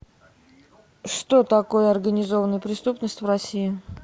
что такое организованная преступность в россии